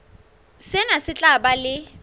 sena se tla ba le